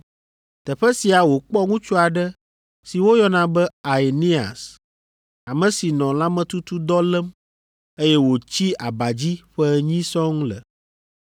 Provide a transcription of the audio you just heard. Teƒe sia wòkpɔ ŋutsu aɖe si woyɔna be Aeneas, ame si nɔ lãmetutudɔ lém, eye wòtsi aba dzi ƒe enyi sɔŋ le.